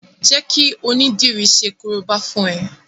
Jẹ́ kí onídìri ṣe korobá fún ẹ!